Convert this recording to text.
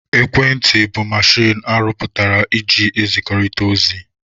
Ekwentị bụ mechin arụ pụtara eji ezikọrịta ozi.